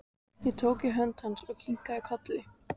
Ég tók í hönd hans og kinkaði kolli.